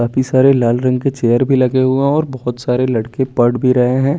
काफी सारे लाल रंग के चेयर भी लगे हुए हैं और बहोत सारे लड़के पढ़ भी रहे हैं।